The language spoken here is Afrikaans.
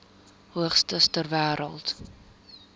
hoogste ter wêreld